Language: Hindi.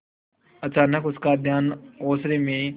अचानक उसका ध्यान ओसारे में